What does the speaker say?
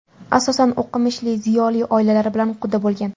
Asosan o‘qimishli, ziyoli oilalar bilan quda bo‘lgan.